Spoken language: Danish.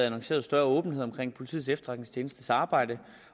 annonceret større åbenhed om politiets efterretningstjenestes arbejde